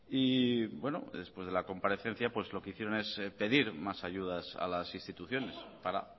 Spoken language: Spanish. y bueno después de la comparecencia pues lo que hicieron es pedir más ayudas a las instituciones para